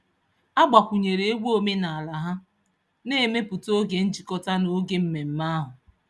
A gbakwunyere egwu omenaala ha, na-emepụta oge njikọta n'oge mmemme ahụ.